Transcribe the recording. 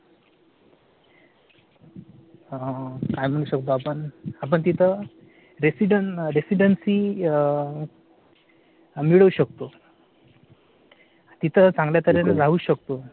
काय म्हणू शकतो आपण शकतो तिथं residency . मिळवू शकतो. तिथं चांगल्या तर्हेने राहू शकतो.